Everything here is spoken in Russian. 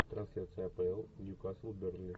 трансляция апл нью касл бернли